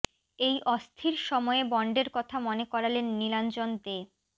এই অস্থির সময়ে বন্ডের কথা মনে করালেন নীলাঞ্জন দে